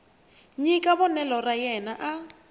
nyika vonelo ra yena a